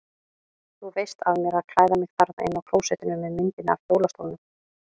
Þú veist af mér að klæða mig þarna inni á klósettinu með myndinni af hjólastólnum.